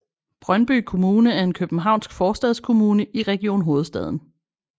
Brøndby Kommune er en københavnsk forstadskommune i Region Hovedstaden